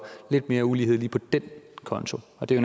lidt mere ulighed lige på den konto og det er